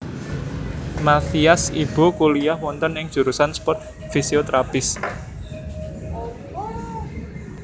Mathias Ibo kuliyah wonten ing jurusan sport physiotherapists